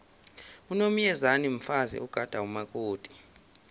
unomyezane mfazi ogada umakoti